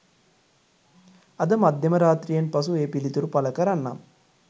අද මධ්‍යම රාත්‍රියෙන් පසු ඒ පිළිතුරු පල කරන්නම්